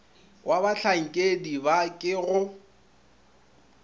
wa bahlankedi ba ke go